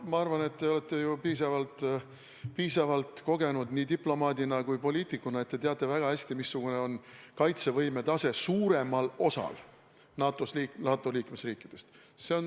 Ma arvan, et te olete piisavalt kogenud nii diplomaadina kui poliitikuna, seega teate väga hästi, missugune on kaitsevõime tase suuremal osal NATO liikmesriikidest.